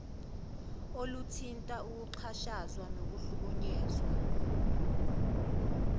oluthinta ukuxhashazwa nokuhlukunyezwa